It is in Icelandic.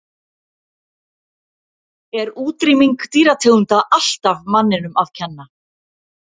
Er útrýming dýrategunda alltaf manninum að kenna?